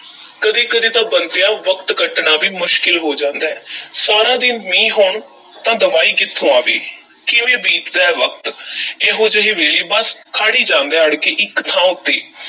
ਕਦੀ-ਕਦੀ ਤਾਂ ਬੰਤਿਆ ਵਕਤ ਕੱਟਣਾ ਵੀ ਮੁਸ਼ਕਲ ਹੋ ਜਾਂਦਾ ਐ ਸਾਰਾ ਦਿਨ ਮੀਂਹ ਹੋਣ ਤਾਂ ਦਵਾਈ ਕਿੱਥੋਂ ਆਵੇਂ, ਕਿਵੇਂ ਬੀਤਦਾ ਹੈ ਵਕਤ ਇਹੋ ਜਿਹੇ ਵੇਲੇ ਬੱਸ, ਖੜ੍ਹ ਈ ਜਾਂਦਾ ਐ ਅੜ ਕੇ ਇੱਕ ਥਾਂ ਉੱਤੇ।